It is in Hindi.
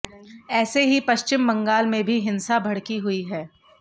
ऐसे ही पश्चिम बंगाल में भी हिंसा भड़की हुई है